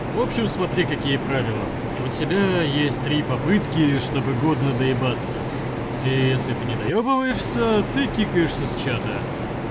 в общем смотри какие правила у тебя есть три попытки чтобы годно доебаться и если ты не доебываешься ты какаешься с чата